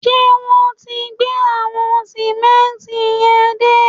Ṣé wọn ti gbé àwọn sìmẹ́ǹtì yẹn dé?